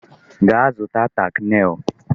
Gaa zụta tack nail!